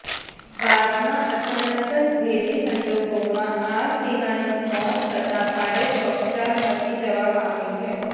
બાદમાં અચાનક જ ભેદી સંજોગોમાં આ સિંહણનુ મોત થતા ભારે ચકચાર મચી જવા પામી છે